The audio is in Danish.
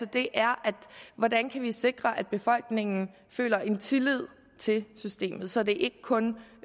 det er hvordan vi kan sikre at befolkningen føler en tillid til systemet så det er ikke kun